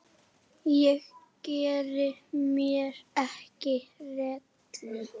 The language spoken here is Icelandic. Ég geri mér ekki rellu.